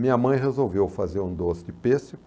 Minha mãe resolveu fazer um doce de pêssego.